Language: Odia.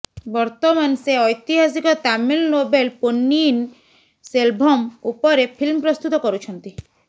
ବର୍ତ୍ତମାନ ସେ ଐତିହାସକ ତାମିଲ୍ ନୋବେଲ୍ ପୋନ୍ନିୟିନ ସେଲଭମ୍ ଉପରେ ଫିଲ୍ମ ପ୍ରସ୍ତୁତ କରୁଛନ୍ତି